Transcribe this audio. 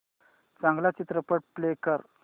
चांगला चित्रपट प्ले कर